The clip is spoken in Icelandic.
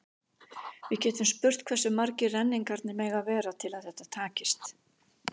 Við getum spurt hversu margir renningarnir mega vera til að þetta takist.